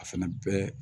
A fɛnɛ bɛɛ